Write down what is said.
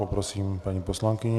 Poprosím paní poslankyni.